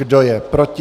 Kdo je proti?